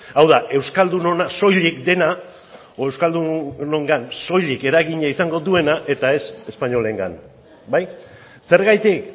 hau da euskaldunena soilik dena edo euskaldunongan soilik eragina izango duena eta ez espainolengan bai zergatik